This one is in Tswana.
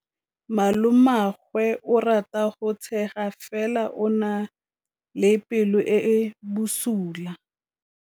Malomagwe o rata go tshega fela o na le pelo e e bosula.